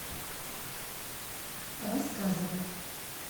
рассказовой